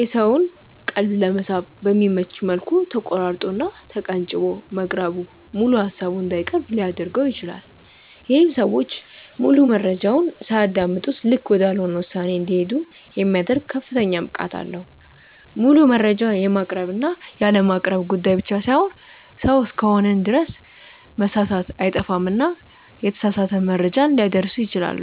የሰውን ቀልብ ለመሳብ በሚመች መልኩ ተቆራርጦ እና ተቀንጭቦ መቅረቡ ሙሉ ሃሳቡን እንዳይቀርብ ሊያድርገው ይችላል። ይሄም ሰዎች ሙሉ መረጃውን ሳያደምጡ ልክ ወዳልሆነ ውሳኔ እንዲሄዱ የሚያደርግ ከፍተኛ ብቃት አለው። ሙሉ መረጃ የማቅረብ እና ያለማቅረብ ጉዳይ ብቻ ሳይሆን ሰው እስከሆንን ድረስ መሳሳት አይጠፋምና የተሳሳተ መረጃ ሊያደርሱ ይችላሉ።